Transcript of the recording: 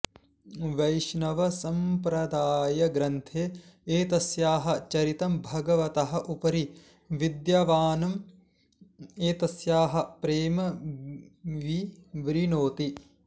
वैष्णवसम्प्रदायग्रन्थे एतस्याः चरितं भगवतः उपरि विद्यमानम् एतस्याः प्रेम विवृणोति